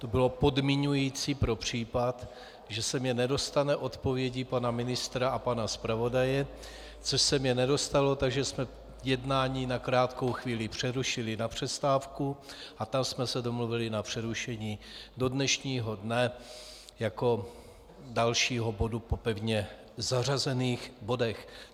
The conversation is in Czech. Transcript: To bylo podmiňující pro případ, že se mi nedostane odpovědi pana ministra a pana zpravodaje, což se mi nedostalo, takže jsme jednání na krátkou chvíli přerušili na přestávku a tam jsme se domluvili na přerušení do dnešního dne jako dalšího bodu po pevně zařazených bodech.